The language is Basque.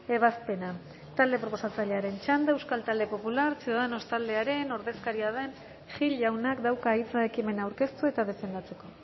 ebazpena talde proposatzailearen txanda euskal talde popular ciudadanos taldearen ordezkaria den gil jaunak dauka hitza ekimena aurkeztu eta defendatzeko